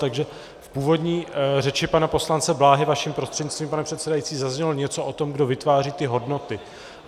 Takže v původní řeči pana poslance Bláhy, vaším prostřednictvím pane předsedající, zaznělo něco o tom, kdo vytváří ty hodnoty.